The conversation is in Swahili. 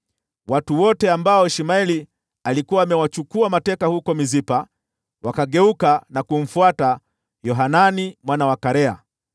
Watu wote ambao Ishmaeli alikuwa amewachukua mateka huko Mispa wakageuka na kumfuata Yohanani mwana wa Karea.